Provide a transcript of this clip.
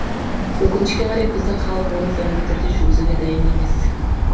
өкінішке қарай біздің халық оны заңды түрде жүргізуге дайын емес